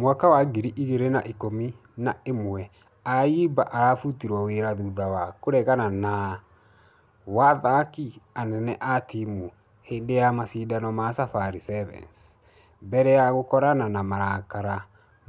Mwaka wa ngiri igĩrĩ na ikũmi na ĩmwe ayimba arabũtirwo wera thutha wa kũregana na ...wa athaki anene a timũ hĩndĩ ya mashidano ma safari sevens . Mbere ya ya gũkorana na marakara